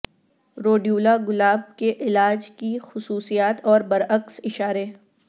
Rhodiola گلاب کے علاج کی خصوصیات اور برعکس اشارے